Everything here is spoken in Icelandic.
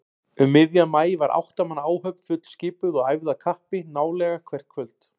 Um miðjan maí var átta manna áhöfn fullskipuð og æfði af kappi nálega hvert kvöld.